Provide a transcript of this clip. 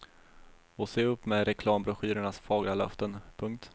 Och se upp med reklambroschyrernas fagra löften. punkt